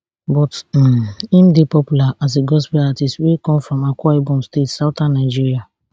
but um im dey popular as a gospel artiste wey come from akwa ibom state southern nigeria